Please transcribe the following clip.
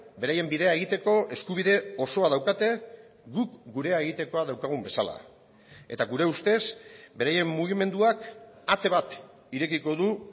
beraien bidea egiteko eskubide osoa daukate guk gurea egitekoa daukagun bezala eta gure ustez beraien mugimenduak ate bat irekiko du